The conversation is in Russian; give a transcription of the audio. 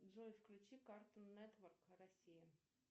джой включи картун нетворк россия